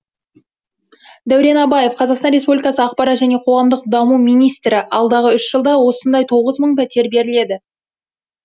дәурен абаев қазақстан республикасы ақпарат және қоғамдық даму министрі алдағы үш жылда осындай тоғыз мың пәтер беріледі